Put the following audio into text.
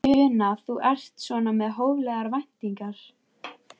Una: Þú ert svona með hóflegar væntingar?